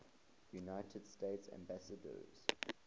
united states ambassadors